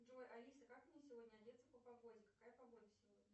джой алиса как мне сегодня одеться по погоде какая погода сегодня